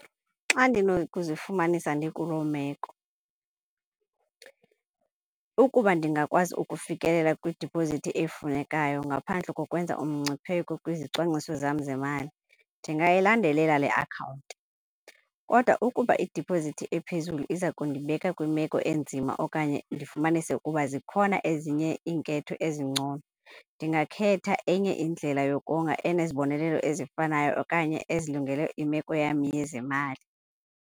Xa ndinokuzifumanisa ndikuloo meko , ukuba ndingakwazi ukufikelela kwidiphozithi efunekayo ngaphandle kokwenza umgcipheko kwizicwangciso zam zemali ndingayilandelele le akhawunti. Kodwa ukuba idiphozithi ephezulu iza kundibeka kwimeko enzima okanye ndifumanise ukuba zikhona ezinye iinketho ezingcono, ndingakhetha enye indlela yokonga enezibonelelo ezifanayo okanye ezilungile imeko yam yezemali.